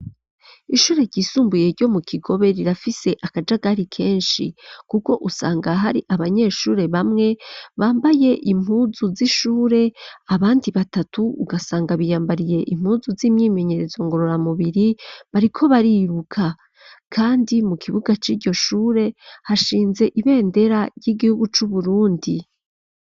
Ishure ryisumbuye ryo mu Kigobe, rirafise akajagari kenshi, kuko usanga hari abanyeshure bamwe bambaye impuzu z'ishure, abandi batatu ugasanga biyambariye impuzu z'imyimenyerezo ngorora mubiri bariko bariruka, kandi mu kibuga ciryo shure hashinze ibendera ry'Igihugu cu Burundi.